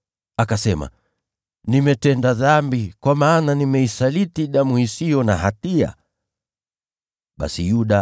Akasema, “Nimetenda dhambi, kwa maana nimeisaliti damu isiyo na hatia.” Wakamjibu, “Hilo latuhusu nini sisi? Ni shauri yako.”